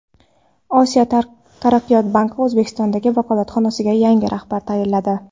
Osiyo taraqqiyot banki O‘zbekistondagi vakolatxonasiga yangi rahbar tayinladi.